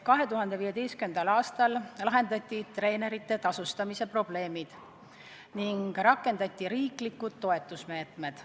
2015. aastal lahendati treenerite tasustamise probleemid ning hakati rakendama riiklikke toetusmeetmeid.